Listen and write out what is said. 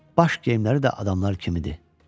baş geyimləri də adamlar kimidir.